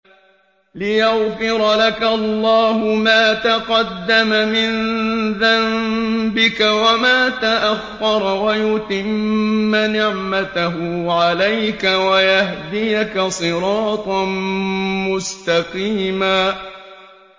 لِّيَغْفِرَ لَكَ اللَّهُ مَا تَقَدَّمَ مِن ذَنبِكَ وَمَا تَأَخَّرَ وَيُتِمَّ نِعْمَتَهُ عَلَيْكَ وَيَهْدِيَكَ صِرَاطًا مُّسْتَقِيمًا